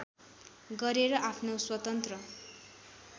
गरेर आफ्नो स्वतन्त्र